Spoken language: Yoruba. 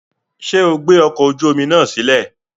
Ṣe o gbe ọkọ oju omi naa silẹ?